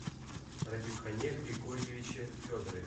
радимхане григорьевиче федорове